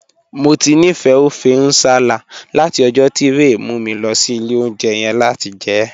Mo ti nifẹ ọfẹ̀ nsálà̀ lati ọ̀jọ̀ ti Rẹ̀ mu mi lọ sí ilẹ̀ ọ̀unjẹ̀ yẹn lati jẹ ẹ.